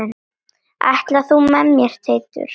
Ætlar þú með mér Teitur!